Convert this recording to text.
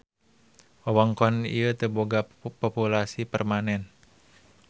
Wewengkon ieu teu boga populasi permanen.